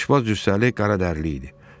Aşpaz cüssəli, qaradərili idi.